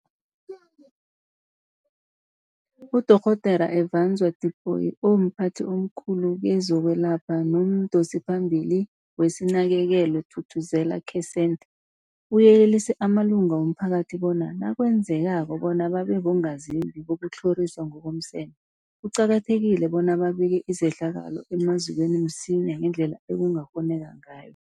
UDorh Efadzwa Tipoy, omphathi omkhulu kezokwelapha nomdosiphambili weSinakekelwe Thuthuzela Care Centre, uyelelise amalunga womphakathi bona nakwenzekako bona babe bongazimbi bokutlhoriswa ngokomseme, kuqakathekile bona babike izehlakalo emazikweni msinyana ngendlela ekungakghonakala ngayo.